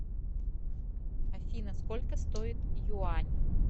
афина сколько стоит юань